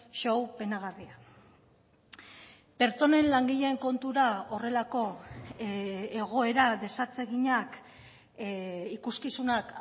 show penagarria pertsonen langileen kontura horrelako egoera desatseginak ikuskizunak